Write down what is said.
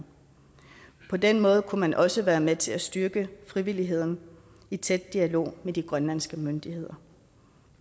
på den måde kunne man også være med til at styrke frivilligheden i tæt dialog med de grønlandske myndigheder